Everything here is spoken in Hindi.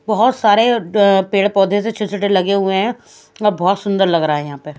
बहोत सारे अ पेड़ पौधे छोटे छोटे लगे हुए है अ बहोत सुंदर लग रहा है यहां पे--